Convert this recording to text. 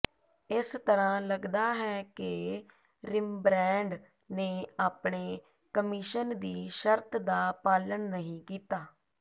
ਇਸ ਤਰ੍ਹਾਂ ਲੱਗਦਾ ਹੈ ਕਿ ਰਿਮਬਰੈਂਡ ਨੇ ਆਪਣੇ ਕਮਿਸ਼ਨ ਦੀ ਸ਼ਰਤ ਦਾ ਪਾਲਣ ਨਹੀਂ ਕੀਤਾ